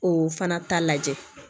O fana ta lajɛ